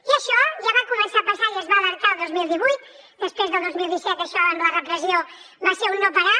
i això ja va començar a passar i es va alertar el dos mil divuit després del dos mil disset això amb la repressió va ser un no parar